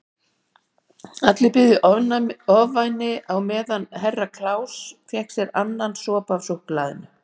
Allir biðu í ofvæni á meðan Herra Kláus fékk sér annan sopa af súkkulaðinu.